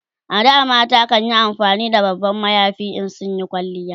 A da mata kanyi amfani da babban mayafi in sun Yi kwalliya